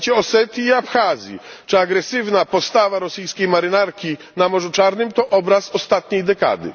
zajęcie Osetii i Abchazji czy agresywna postawa rosyjskiej marynarki na Morzu Czarnym to obraz ostatniej dekady.